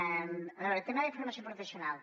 a veure tema de formació professional